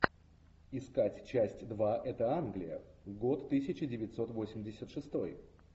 искать часть два это англия год тысяча девятьсот восемьдесят шестой